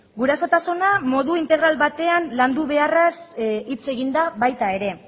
gurasotasuna modu integral batean landu beharraz hitz egin da baita ere